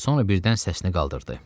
Sonra birdən səsini qaldırdı.